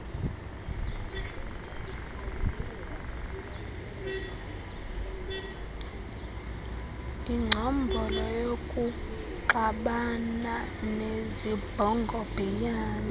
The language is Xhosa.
ingcombolo yokuxabana nezibhongobhiyane